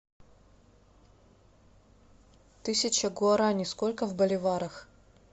тысяча гуарани сколько в боливарах